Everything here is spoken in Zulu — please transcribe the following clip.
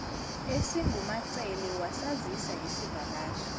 esingumacele wasazisa ngesivakashi